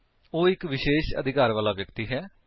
ਉਹ ਇੱਕ ਵਿਸ਼ੇਸ਼ ਅਧਿਕਾਰ ਵਾਲਾ ਵਿਅਕਤੀ ਹੈ